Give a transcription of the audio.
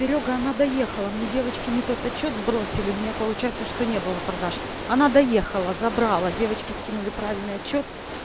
серёга она доехала мне девочки не тот отчёт сбросили у меня получается что не было продаж она доехала забрала девочки скинули правильный отчёт